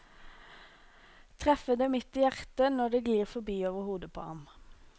Treffe det midt i hjertet når det glir forbi over hodet på ham.